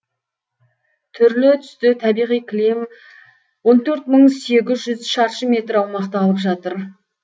түрлі түсті табиғи кілем он төрт мың сегіз жүз шаршы метр аумақты алып жатыр